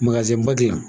ba dilan